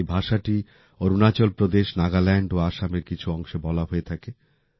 এই ভাষাটি অরুণাচল প্রদেশ নাগাল্যান্ড ও আসামের কিছু অংশে বলা হয়ে থাকে